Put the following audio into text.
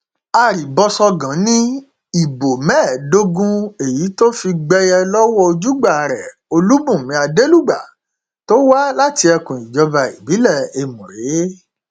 arìbọṣọgàn ni ìbò mẹẹẹdógún èyí tó fi gbẹyẹ lọwọ ojúgbà rẹ olùbùnmi adelugba tó wá láti ẹkùn ìjọba ìbílẹ ẹmùrè